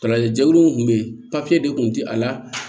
Kalajɛkulu min kun bɛ yen papiye de tun ti a la